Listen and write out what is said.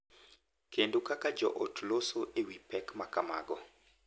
Kendo kaka joot loso e wi pek ma kamago .